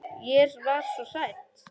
Ég var svo hrædd.